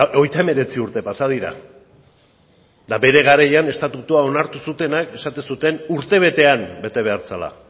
hogeita hemeretzi urte pasa dira eta bere garaian estatutua onartu zutenek esaten zuten urtebetean bete behar zela